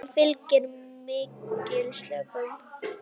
Þeim fylgir mikil slökun.